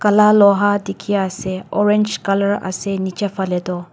laal loha dikhi ase orange colour ase nicha fela tu.